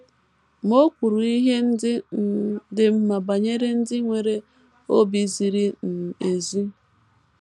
Ma, o kwuru ihe ndị um dị mma banyere ndị nwere obi ziri um ezi.